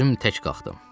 Özüm tək qalxdım.